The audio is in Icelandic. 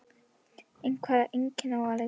En hvaða einkenna á að leita?